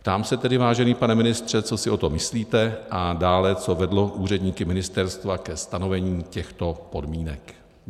Ptám se tedy, vážený pane ministře, co si o tom myslíte, a dále, co vedlo úředníky ministerstva ke stanovení těchto podmínek.